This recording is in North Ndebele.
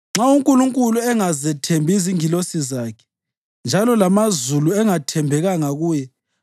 Nxa uNkulunkulu engazethembi izingilosi zakhe, njalo lamazulu engathembekanga kuye,